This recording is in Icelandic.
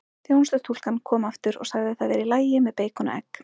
Þjónustustúlkan kom aftur og sagði það væri í lagi með beikon og egg.